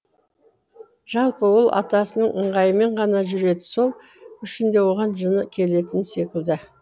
жалпы ол атасының ыңғайымен ғана жүреді сол үшін де оған жыны келетін секілді